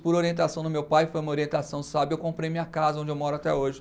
Por orientação do meu pai, foi uma orientação sábia, eu comprei minha casa, onde eu moro até hoje.